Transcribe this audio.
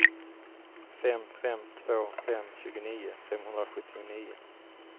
fem fem två fem tjugonio femhundrasjuttionio